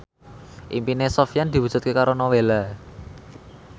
impine Sofyan diwujudke karo Nowela